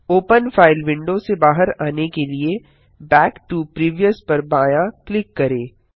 open file window से बाहर आने के लिए बैक टो प्रीवियस पर बायाँ क्लिक करें